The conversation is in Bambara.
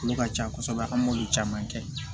Olu ka ca kosɛbɛ an m'olu caman kɛ